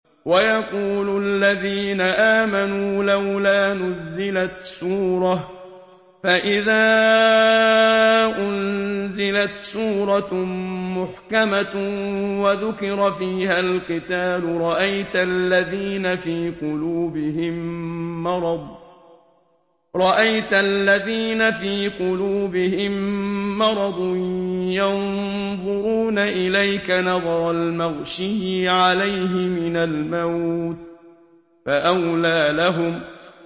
وَيَقُولُ الَّذِينَ آمَنُوا لَوْلَا نُزِّلَتْ سُورَةٌ ۖ فَإِذَا أُنزِلَتْ سُورَةٌ مُّحْكَمَةٌ وَذُكِرَ فِيهَا الْقِتَالُ ۙ رَأَيْتَ الَّذِينَ فِي قُلُوبِهِم مَّرَضٌ يَنظُرُونَ إِلَيْكَ نَظَرَ الْمَغْشِيِّ عَلَيْهِ مِنَ الْمَوْتِ ۖ فَأَوْلَىٰ لَهُمْ